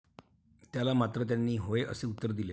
त्याला मात्र त्यांनी होय असे उत्तर दिले.